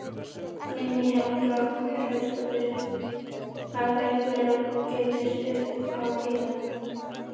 Guðný Helga Herbertsdóttir: Hafa einhverjir gefist upp á að bíða?